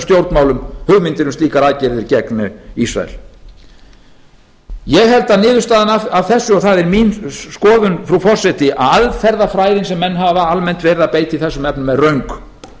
stjórnmálum hugmyndir um slíkar aðgerðir gegn ísrael ég held að niðurstaðan af þessu og það er mín skoðun frú forseti að aðferðafræðin sem menn hafa almennt verið að beita í þessum efnum er röng